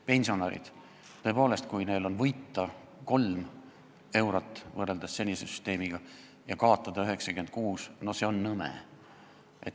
Pensionärid – tõepoolest, kui neil on võrreldes senise süsteemiga võita 3 eurot ja kaotada 96 eurot, siis see on nõme.